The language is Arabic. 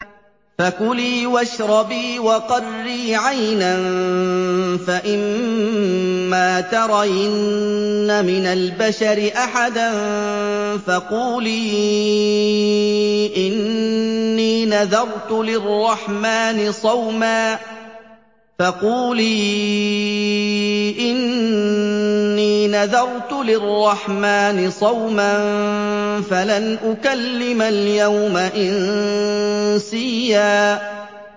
فَكُلِي وَاشْرَبِي وَقَرِّي عَيْنًا ۖ فَإِمَّا تَرَيِنَّ مِنَ الْبَشَرِ أَحَدًا فَقُولِي إِنِّي نَذَرْتُ لِلرَّحْمَٰنِ صَوْمًا فَلَنْ أُكَلِّمَ الْيَوْمَ إِنسِيًّا